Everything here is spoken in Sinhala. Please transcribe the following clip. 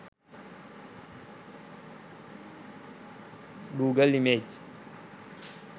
google image